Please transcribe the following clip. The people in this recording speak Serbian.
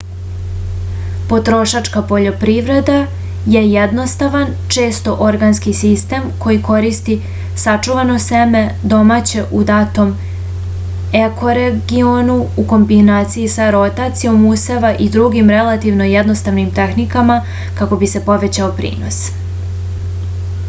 potrošačka poljoprivreda je jednostavan često organski sistem koji koristi sačuvano seme domaće u datom ekoregionu u kombinaciji sa rotacijom useva i drugim relativno jednostavnim tehnikama kako bi se povećao prinos